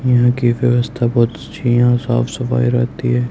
यहां की व्यवस्था बहुत अच्छी है यहां साफ सफाई रहती--